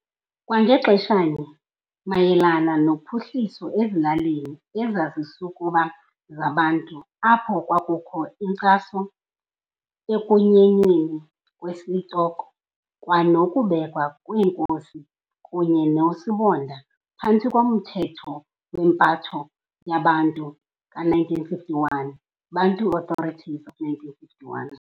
Kwangaxeshanye mayelana nophuhliso ezilalini ezazisukuba zaBantu apho kwakukho inkcaso ekunyinweni kwesitoko kwanokubekwa kweenkosi kunye noosibonda phantsi komthetho wempatho yeBantu ka-1951, Bantu Authorities of 1951.